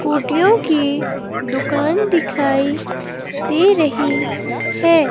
कुटीयों की दुकान दिखाई दे रही है।